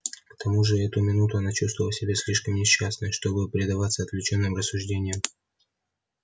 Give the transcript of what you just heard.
к тому же в эту минуту она чувствовала себя слишком несчастной чтобы предаваться отвлечённым рассуждениям